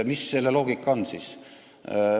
Mis selle loogika on?